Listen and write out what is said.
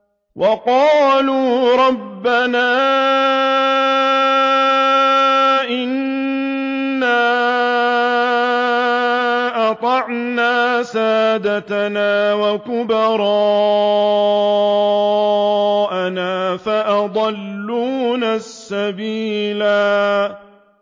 وَقَالُوا رَبَّنَا إِنَّا أَطَعْنَا سَادَتَنَا وَكُبَرَاءَنَا فَأَضَلُّونَا السَّبِيلَا